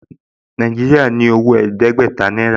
Nàìjíríà ní owó ẹ̀ẹ́dẹ́gbẹ̀ta náírà